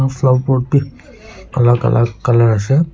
flower pot bi alak alak colour ase.